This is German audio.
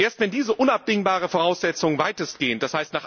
Erst wenn diese unabdingbare Voraussetzung weitestgehend, d.